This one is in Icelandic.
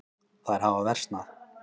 Þær hafa versnað.